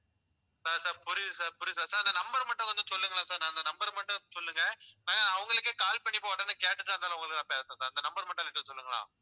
sir sir புரியுது sir புரியுது sir sir அந்த number மட்டும் வந்து சொல்லுங்களேன் sir நான் அந்த number அ மட்டும் சொல்லுங்க நான் அவங்களுக்கே call பண்ணி உடனே கேட்டுட்டுதான் இருந்தாலும் உங்களுக்கு நான் பேசறேன் sir இந்த number மட்டும் கொஞ்சம் சொல்லுங்களேன்